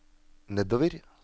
nedover